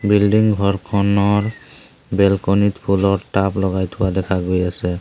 Building ঘৰখনৰ balcony ত ফুলৰ টাব লগাই থোৱা দেখা গৈ আছে।